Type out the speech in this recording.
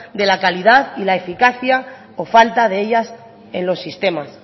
de la calidad y la eficacia o falta de ellas en los sistemas